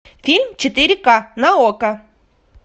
фильм четыре ка на окко